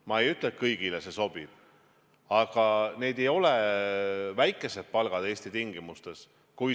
Ma ei ütle, et kõigile see sobib, aga need ei ole väikesed palgad Eesti tingimustes.